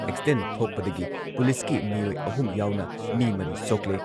Accident ꯊꯣꯛꯄꯗꯒꯤ ꯄꯨꯂꯤꯁꯀꯤ ꯃꯤꯑꯣꯏ ꯑꯍꯨꯝ ꯌꯥꯎꯅ ꯃꯤ ꯃꯔꯤ ꯁꯣꯛꯂꯦ꯫